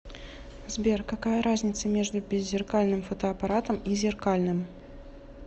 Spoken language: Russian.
сбер какая разница между беззеркальным фотоаппаратом и зеркальным